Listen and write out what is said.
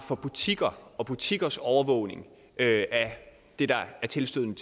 for butikker og for butikkers overvågning af det tilstødende